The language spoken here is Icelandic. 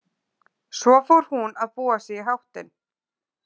Svo fór hún að búa sig í háttinn.